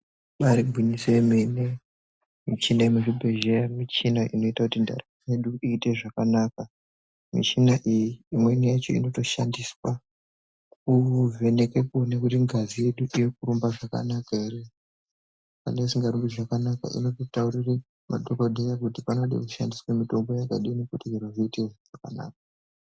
Ibaari gwinyiso yemene michina yemuzvibhedhleya michina inoita kuti ndaramo yedu iite zvakanaka. Mishina iyi imweni yacho inotodhandiswa kuvheneke kuone kuti ngazi yedu irikurumba zvakanaka here. Kana isingarumbi zvakanaka, inototaurire madhokodheya kuti panode kushandiswe mitombo yakadini kuti zviro zviite zvakanaka.